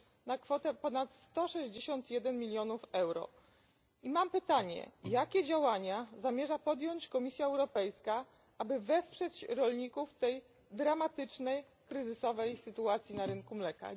na kwotę ponad 161 mln EUR, i mam pytanie, jakie działania zamierza podjąć Komisja Europejska, aby wesprzeć rolników w tej dramatycznej kryzysowej sytuacji na rynku mleka.